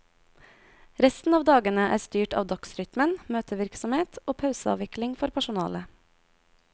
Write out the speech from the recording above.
Resten av dagene er styrt av dagsrytmen, møtevirksomhet og pauseavikling for personalet.